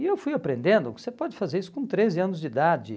E eu fui aprendendo que você pode fazer isso com treze anos de idade.